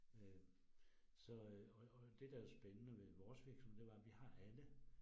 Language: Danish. Øh så øh og og det der spændende ved vores virksomhed det var, vi har alle